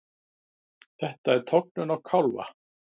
Þetta er tognun á kálfa.